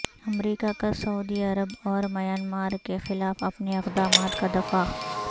امریکہ کا سعودی عرب اور میانمار کے خلاف اپنے اقدامات کا دفاع